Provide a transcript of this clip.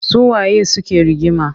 Su waye suke rigima?